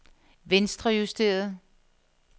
venstrejusteret